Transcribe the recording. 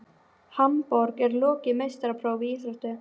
Hamborg og lokið meistaraprófi í íþróttinni.